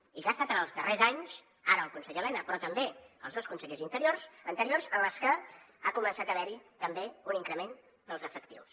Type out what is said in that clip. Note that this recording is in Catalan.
i ha estat en els darrers anys ara el conseller elena però també els dos consellers anteriors en els que ha començat a haver hi també un increment dels efectius